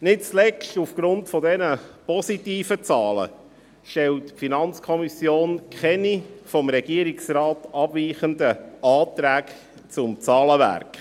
Nicht zuletzt aufgrund dieser positiven Zahlen stellt die FiKo keine vom Regierungsrat abweichenden Anträge zum Zahlenwerk.